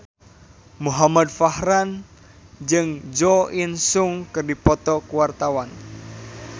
Muhamad Farhan jeung Jo In Sung keur dipoto ku wartawan